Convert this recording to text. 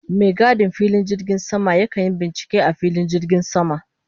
Mai gadin filin jirgin sama ya kan yi bincike a filin jirgin sama.